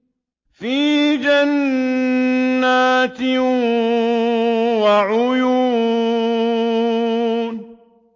فِي جَنَّاتٍ وَعُيُونٍ